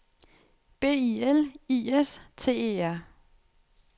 B I L I S T E R